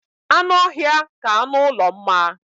Anụ ọhịa ka anụ ụlọ mma